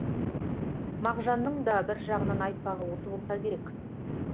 мағжанның да бір жағынан айтпағы осы болса керек